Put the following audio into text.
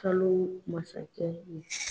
Kalo masakɛ ye